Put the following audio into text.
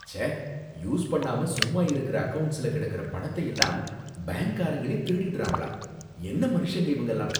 ச்சே! யூஸ் பண்ணாம சும்மா இருக்குற அக்கவுண்ட்ஸ்ல கிடக்கற பணத்தையெல்லாம் பேங்க்காரங்களே திருடிடுறாங்கலாம், என்ன மனுஷங்க இவங்கலாம்!